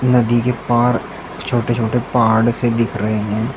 नदी के पार छोटे छोटे पहाड़ से दिख रहे हैं।